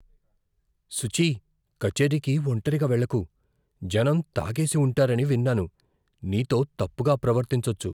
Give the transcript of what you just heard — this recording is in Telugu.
సుచీ, కచేరీకి ఒంటరిగా వెళ్లకు. జనం తాగేసి ఉంటారని విన్నాను, నీతో తప్పుగా ప్రవర్తించొచ్చు.